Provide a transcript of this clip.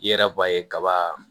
I yɛrɛ b'a ye kaba